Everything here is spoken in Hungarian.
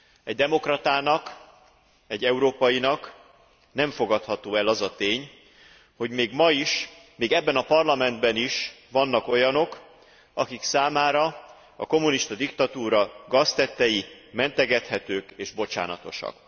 Egy demokratának, egy európainak nem fogadható el az a tény, hogy még ma is, még ebben a Parlamentben is vannak olyanok, akik számára a kommunista diktatúra gaztettei mentegethetők és bocsánatosak.